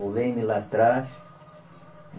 O Leme lá atrás.